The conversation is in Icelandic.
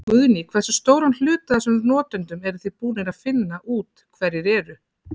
Guðný: Hversu stóran hluta af þessum notendum eruð þið búnir að finna út hverjir eru?